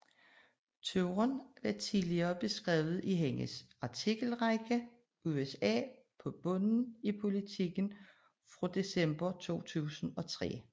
Turen var tidligere beskrevet i hendes artikelrække USA på bunden i Politiken fra december 2003